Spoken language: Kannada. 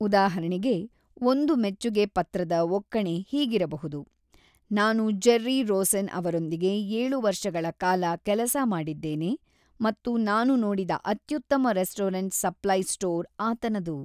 ಉದಾಹರಣೆಗೆ, ಒಂದು ಮೆಚ್ಚುಗೆ ಪತ್ರದ ಒಕ್ಕಣೆ ಹೀಗಿರಬಹುದು: "ನಾನು ಜೆರ್ರಿ ರೋಸೆನ್ ಅವರೊಂದಿಗೆ ಏಳು ವರ್ಷಗಳ ಕಾಲ ಕೆಲಸ ಮಾಡಿದ್ದೇನೆ ಮತ್ತು ನಾನು ನೋಡಿದ ಅತ್ಯುತ್ತಮ ರೆಸ್ಟೋರೆಂಟ್ ಸಪ್ಲೈ ಸ್ಟೋರ್ ಆತನದು!"